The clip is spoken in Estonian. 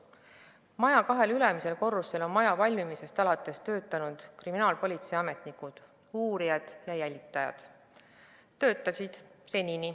Maja kahel ülemisel korrusel on maja valmimisest alates töötanud kriminaalpolitsei ametnikud, uurijad ja jälitajad.